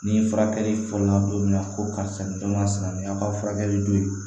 Ni furakɛli fɔla don min na ko karisa ma sinankunya ka furakɛli don yen